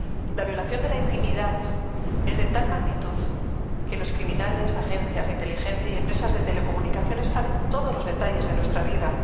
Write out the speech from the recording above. La violación de la intimidad es de tal magnitud que los criminales, agencias de inteligencia y empresas de telecomunicaciones saben todos los detalles de nuestra vida.